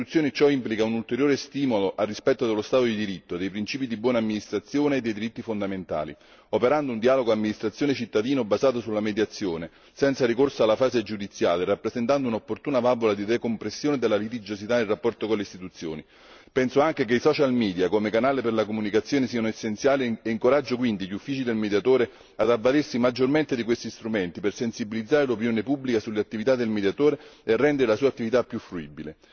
Per le istituzioni ciò implica un ulteriore stimolo al rispetto dello Stato di diritto, dei principi di buona amministrazione e dei diritti fondamentali, operando un dialogo amministrazione cittadino basato sulla mediazione, senza ricorso alla fase giudiziale rappresentando un'opportuna valvola di decompressione della litigiosità in rapporto con le istituzioni. Penso anche che i social media come canale per la comunicazione siano essenziali e incoraggio quindi gli uffici del Mediatore ad avvalersi maggiormente di questi strumenti per sensibilizzare l'opinione pubblica sulle attività del Mediatore e rendere la sua attività più fruibile.